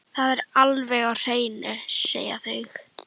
Það er alveg á hreinu, segja þau.